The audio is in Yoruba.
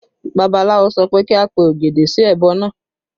Babaláwo sọ pé kí a pe ògèdè sí ẹbọ náà